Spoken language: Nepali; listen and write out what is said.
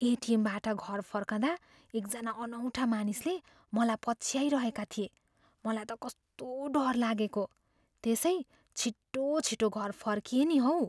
एटिएमबाट घर फर्कँदा एकजना अनौठा मानिसले मलाई पछ्याइरहेका थिए। मलाई त कस्तो डर लागेको, त्यसै छिटोछिटो घर फर्किएँ नि हौ।